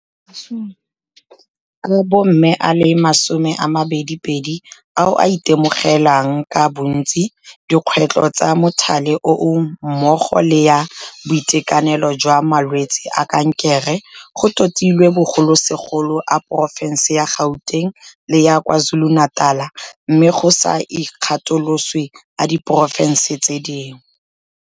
a bomme a le 22 ao a itemogelang ka bontsi dikgwetlho tsa mothale oo mmogo le ya boitekanelo jwa malwetse a kankere, go totilwe bogolosegolo a porofense ya Gauteng le ya KwaZulu-Natal, mme go sa ikgatoloswe a di porofense tse dingwe.